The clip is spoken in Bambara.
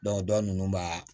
dɔ nunnu b'a